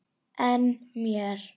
En mér?